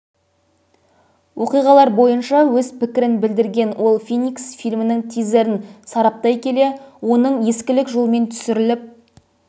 оқиғалар бойынша өз пікірін білдірген ол феникс фильмінің тизерін сараптай келе оның ескілік жолмен түсіріліп